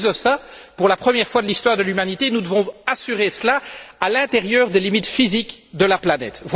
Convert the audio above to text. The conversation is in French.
Mais en plus de cela, pour la première fois de l'histoire de l'humanité, nous devons assurer cela à l'intérieur des limites physiques de la planète.